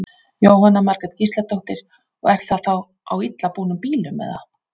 Jóhanna Margrét Gísladóttir: Og er það þá á illa búnum bílum eða?